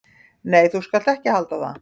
"""Nei, þú skalt ekki halda það!"""